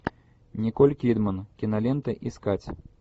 николь кидман кинолента искать